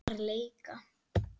Bara leika.